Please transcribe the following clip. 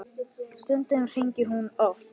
Stundum hringdi hún oft.